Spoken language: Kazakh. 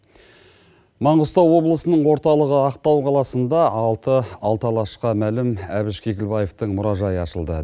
маңғыстау облысының орталығы ақтау қаласында алты алашқа мәлім әбіш кекілбаетың мұражайы ашылды